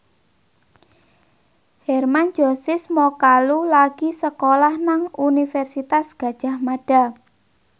Hermann Josis Mokalu lagi sekolah nang Universitas Gadjah Mada